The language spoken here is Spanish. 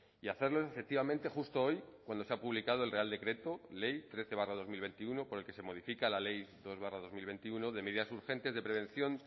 y hacerlo efectivamente justo hoy cuando se ha publicado el real decreto ley trece barra dos mil veintiuno por el que se modifica la ley dos barra dos mil veintiuno de medidas urgentes de prevención